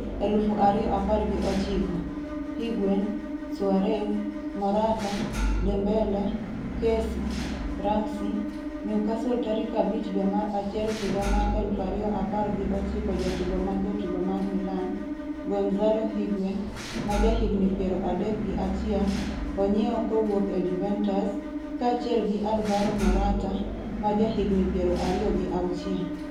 2019: Higuain, Suarez, Morata, Dembele, Kessie, Ramsey, Newcastle tarik 5 dwe mar achiel higa mar 2019 Jatugo ma jatugo mar Milan, Gonzalo Higuain, ma jahigni 31, onyiewo kowuok e Juventus, kaachiel gi Alvaro Morata, ma jahigni 26.